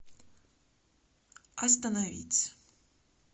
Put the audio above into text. остановить